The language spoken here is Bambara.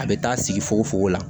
A bɛ taa sigi fogo fogo la